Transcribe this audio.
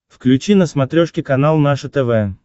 включи на смотрешке канал наше тв